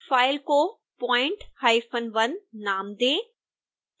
file को point1 नाम दें